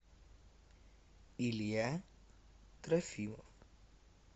илья трофимов